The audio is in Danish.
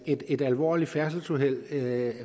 et et alvorligt færdselsuheld med